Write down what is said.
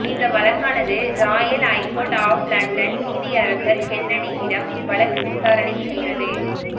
இந்த வழக்கானது royal high court of London நீதியரசர் கென்னடியிடம் வழக்கு விசாரணை சென்றது